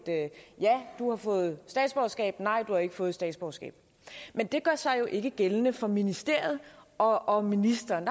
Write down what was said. ja du har fået statsborgerskab nej du har ikke fået statsborgerskab men det gør sig jo ikke gældende for ministeriet og ministeren